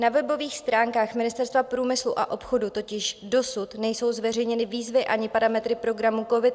Na webových stránkách Ministerstva průmyslu a obchodu totiž dosud nejsou zveřejněny výzvy ani parametry programu COVID -